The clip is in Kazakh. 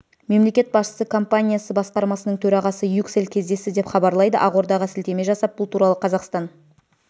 мемлекет басшысы компаниясы басқармасының төрағасы юксел кездесті деп хабарлайды ақордаға сілтеме жасап бұл туралы қазақстан